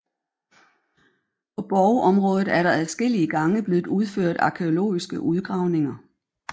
På borgområdet er der adskillige gange blevet udført arkæologiske udgravninger